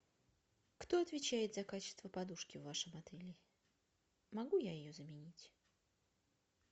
кто отвечает за качество подушки в вашем отеле могу я ее заменить